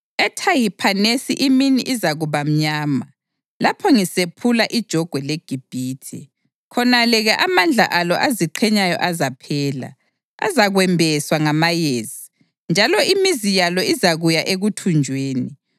EThahiphanesi imini izakuba mnyama, lapho ngisephula ijogwe leGibhithe; khonale-ke amandla alo aziqhenyayo azaphela. Azakwembeswa ngamayezi, njalo imizi yalo izakuya ekuthunjweni.